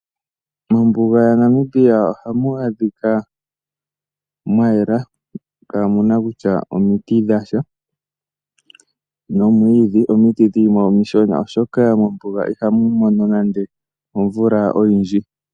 Mombuga ya Namibia ohamu adhika mwa yela, kaamuna kutya omiti dha sha nomwiidhi. Omiti dho dhi li mo omishona oshoka mombuga ihamu mono nande omvula oyindji.